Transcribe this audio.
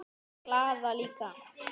Glaða líka.